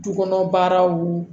Du kɔnɔ baaraw